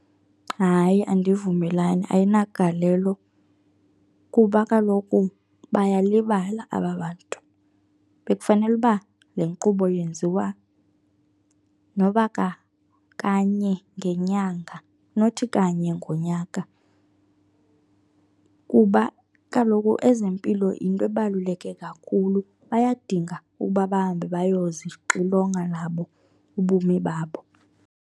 Hayi andivumelani, ayinagalelo kuba kaloku bayalibala aba bantu. Bekufanele uba le nkqubo yenziwa noba kanye ngenyanga, nothi kanye ngonyaka kuba kaloku ezempilo yinto ebaluleke kakhulu. Bayadinga ukuba bahambe bayozixilonga nabo ubomi babo.